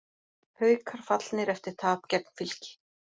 Haukar fallnir eftir tap gegn Fylki